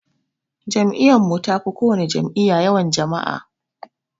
Jam'iyyun mun tafi kowana jam'iyya yawan jama'a